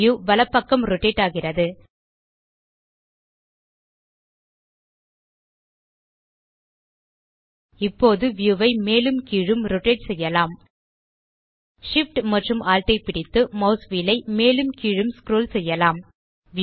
view வலப்பக்கம் rotate ஆகிறது இப்போது வியூ ஐ மேலும் கீழும் ரோட்டேட் செய்யலாம் Shift மற்றும் Alt ஐ பிடித்து மாஸ் வீல் ஐ மேலும் கீழூம் ஸ்க்ரோல் செய்யலாம்